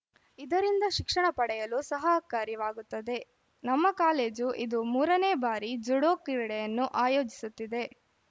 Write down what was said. ಇದರಿಂದ ಶಿಕ್ಷಣ ಪಡೆಯಲು ಸಹಕಾರಿವಾಗುತ್ತದೆ ನಮ್ಮ ಕಾಲೇಜು ಇದು ಮೂರನೇ ಬಾರಿ ಜುಡೋ ಕ್ರೀಡೆಯನ್ನು ಆಯೋಜಿಸುತ್ತಿದೆ